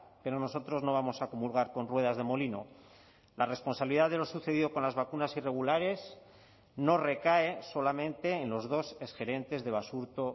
pero nosotros no vamos a comulgar con ruedas de molino la responsabilidad de lo sucedido con las vacunas irregulares no recae solamente en los dos exgerentes de basurto